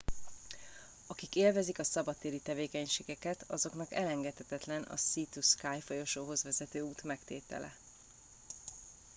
akik élvezik a szabadtéri tevékenységeket azoknak elengedhetetlen a sea to sky folyosóhoz vezető út megtétele